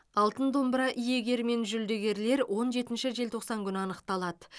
алтын домбыра иегері мен жүлдегерлер он жетінші желтоқсан күні анықталады